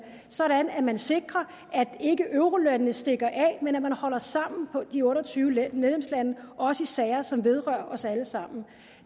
sådan at man sikrer at eurolandene ikke stikker af men at man holder sammen på de otte og tyve medlemslandene også i sager som vedrører os alle sammen